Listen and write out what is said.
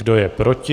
Kdo je proti?